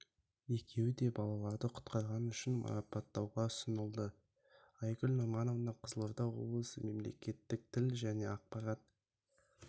екеуі де балаларды құтқарғаны үшін марапаттауға ұсынылды айгүл нұрманова қызылорда облысы мемлекеттік тіл және ақпарат